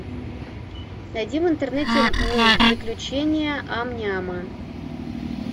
найди в интернете мульт приключения ам няма